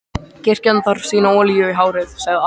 Kirkjan þarf sína olíu í hárið, sagði Ari.